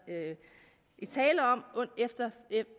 tale om